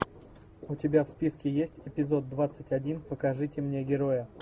у тебя в списке есть эпизод двадцать один покажите мне героя